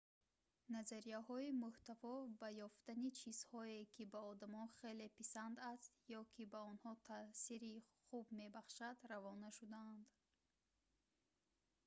назарияҳои муҳтаво ба ёфтани чизҳое ки ба одамон хеле писанд аст ё ки ба онҳо таъсири хуб мебахшад равона шудаанд